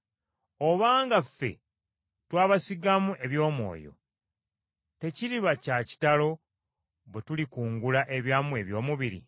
Obanga ffe twabasigamu eby’omwoyo, tekiriba kya kitalo bwe tulikungula ebyammwe eby’omubiri?